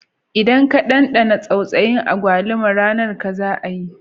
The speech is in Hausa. Idan ka dandana tsautsayi agbalumo, ranar ka za a yi